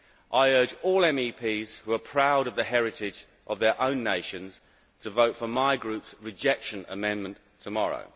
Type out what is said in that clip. I urge all MEPs who are proud of the heritage of their own nations to vote for my Group's rejection amendment tomorrow.